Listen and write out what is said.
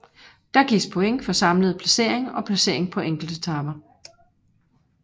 Der gives point for samlede placering og placering på enkeltetaper